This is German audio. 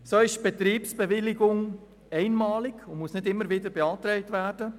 So ist die Betriebsbewilligung einmalig und muss nicht immer wieder beantragt werden.